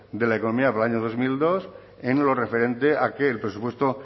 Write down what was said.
de la economía en del año dos mil dos en lo referente a que el presupuesto